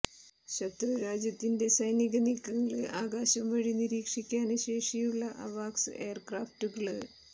ശത്രുരാജ്യത്തിന്റെ സൈനിക നീക്കങ്ങള് ആകാശം വഴി നിരീക്ഷിക്കാന് ശേഷിയുള്ള അവാക്സ് എയര്ക്രാഫ്റ്റുകള്